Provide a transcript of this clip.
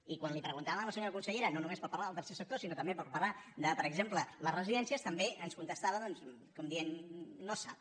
i quan li ho preguntàvem a la senyora consellera no només per parlar del tercer sector sinó també per parlar de per exemple les residències també ens contestava doncs com dient no es sap